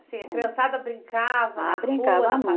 Assim, a criançada brincava. Ah, brincava